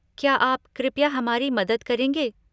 क्या आप कृपया हमारी मदद करेंगे?